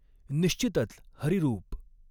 निश्चितच हरिरूप